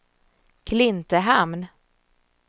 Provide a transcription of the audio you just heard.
Klintehamn